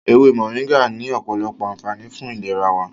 Ewé Mọ̀ríngà ní ọ̀pọ̀lọpọ̀ ànfààní fún ìlera wa.